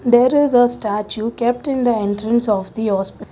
there is a statue kept in the entrance of the hospi--